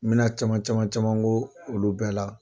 N bɛ na caman caman caman k'o olu bɛɛ la.